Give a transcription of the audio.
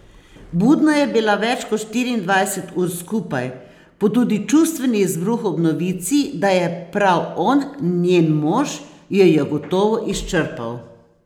Budna je bila več kot štiriindvajset ur skupaj, pa tudi čustveni izbruh ob novici, da je prav on njen mož, jo je gotovo izčrpal.